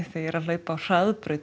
þegar ég er að hlaupa á hraðbraut